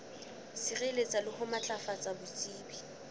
sireletsa le ho matlafatsa botsebi